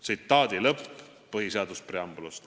" See oli tsitaat põhiseaduse preambulist.